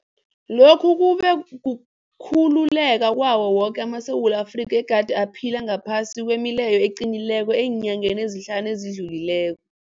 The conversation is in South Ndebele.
Lokhu kube kukhululeka kwawo woke amaSewula Afrika egade aphila ngaphasi kwemileyo eqinileko eenyangeni ezihlanu ezidlulileko.